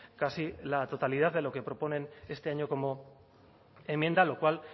casi la totalidad de lo que proponen este año como enmienda lo cual